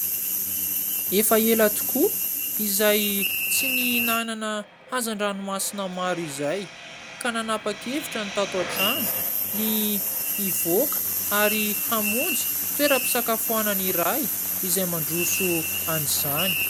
Efa ela tokoa izay tsy nihinanana hazandranomasina maro izay ka nanapa-kevitra ny tato an-trano ny hivoaka ary hamonjy toeram-pisakafoana iray izay mandroso an'izany.